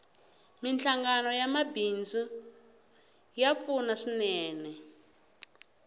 minhlangano ya mabidzu ya pfuna swinene